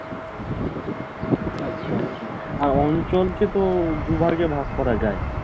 আচ্ছা আচ্ছা আর অঞ্চলকে তো দুই ভাগে ভাগ করা যায়